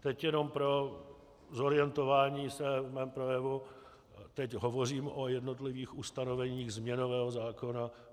Teď jenom pro zorientování se v mém projevu, teď hovořím o jednotlivých ustanoveních změnového zákona.